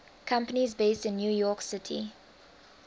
companies based in new york city